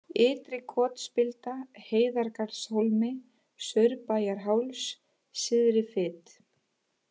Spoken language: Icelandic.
Ytri-Kotsspilda, Hleiðargarðshólmi, Saurbæjarháls, Syðri-Fit